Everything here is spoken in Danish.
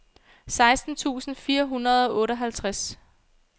seksten tusind fire hundrede og otteoghalvtreds